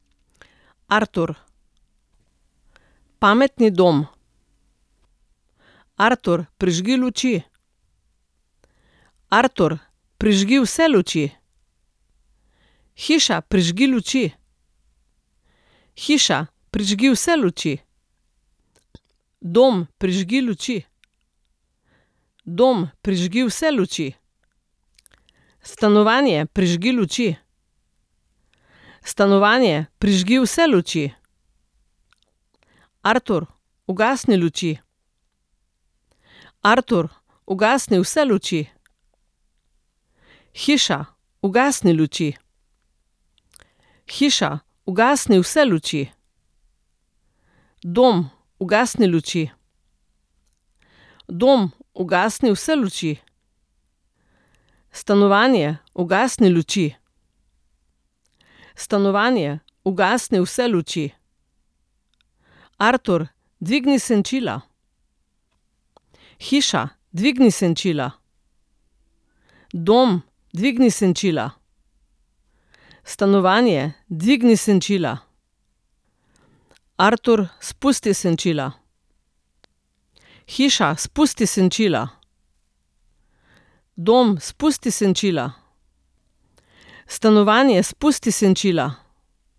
Artur. Pametni dom. Artur, prižgi luči. Artur, prižgi vse luči. Hiša, prižgi luči. Hiša, prižgi vse luči. Dom, prižgi luči. Dom, prižgi vse luči. Stanovanje, prižgi luči. Stanovanje, prižgi vse luči. Artur, ugasni luči. Artur, ugasni vse luči. Hiša, ugasni luči. Hiša, ugasni vse luči. Dom, ugasni luči. Dom, ugasni vse luči. Stanovanje, ugasni luči. Stanovanje, ugasni vse luči. Artur, dvigni senčila. Hiša, dvigni senčila. Dom, dvigni senčila. Stanovanje, dvigni senčila. Artur, spusti senčila. Hiša, spusti senčila. Dom, spusti senčila. Stanovanje, spusti senčila.